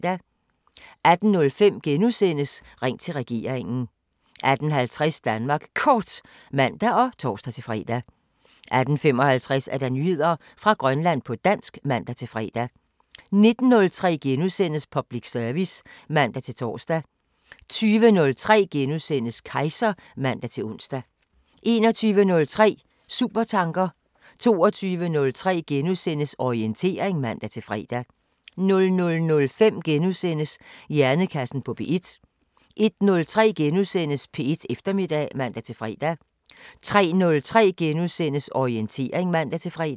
18:05: Ring til regeringen * 18:50: Danmark Kort (man og tor-fre) 18:55: Nyheder fra Grønland på dansk (man-fre) 19:03: Public service *(man-tor) 20:03: Kejser *(man-ons) 21:03: Supertanker 22:03: Orientering *(man-fre) 00:05: Hjernekassen på P1 * 01:03: P1 Eftermiddag *(man-fre) 03:03: Orientering *(man-fre)